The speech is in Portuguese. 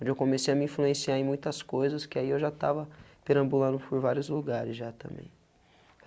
Onde eu comecei a me influenciar em muitas coisas, que aí eu já estava perambulando por vários lugares já também.